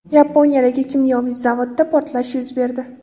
Yaponiyadagi kimyoviy zavodda portlash yuz berdi.